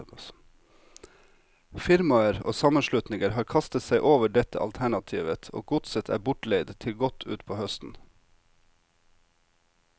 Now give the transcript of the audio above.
Firmaer og sammenslutninger har kastet seg over dette alternativet, og godset er bortleid til godt utpå høsten.